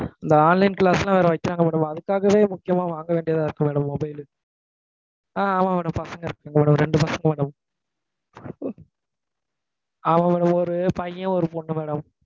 இந்த online class லாம் வைக்கிறாங்க madam. அதுக்காகவே முக்கியமா வாங்க வேண்டியதா இருக்கு madam, mobile லு. ஆஹ் ஆமாம் madam. பசங்க, நமக்கு ஒரு ரெண்டு பசங்க madam. ஆமாம் madam. ஒரு, ஒரு பையன், ஒரு பொண்ணு madam